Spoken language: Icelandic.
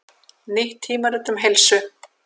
Nýtt tímarit um heilsu